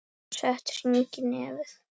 Og sett hring í nefið.